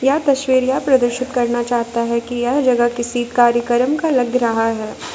यह तस्वीर यह प्रदर्शित करना चाहता है कि यह जगह किसी कार्यक्रम का लग रहा है।